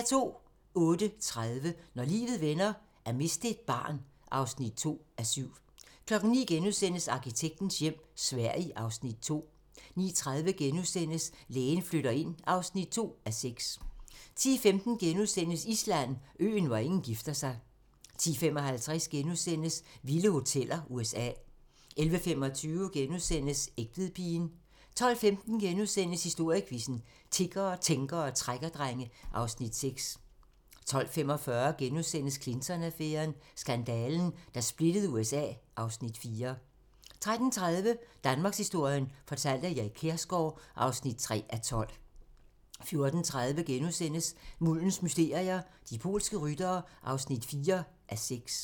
08:30: Når livet vender: At miste et barn (2:7) 09:00: Arkitektens hjem - Sverige (Afs. 2)* 09:30: Lægen flytter ind (2:6)* 10:15: Island: Øen, hvor ingen gifter sig * 10:55: Vilde hoteller: USA * 11:25: Egtvedpigen * 12:15: Historiequizzen: Tiggere, tænkere og trækkerdrenge (Afs. 6)* 12:45: Clinton-affæren: Skandalen, der splittede USA (Afs. 4)* 13:30: Danmarkshistorien fortalt af Erik Kjersgaard (3:12) 14:30: Muldens mysterier - De polske ryttere (4:6)*